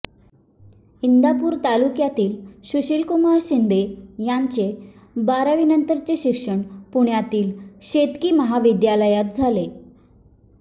इंदापूर तालुक्यातील सुशीलकुमार शिंदे यांचे बारावीनंतरचे शिक्षण पुण्यातील शेतकी महाविद्यालयात झाले